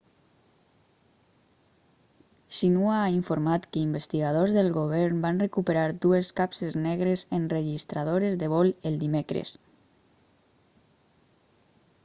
xinhua ha informat que investigadors del govern van recuperar dues capses negres' enregistradores de vol el dimecres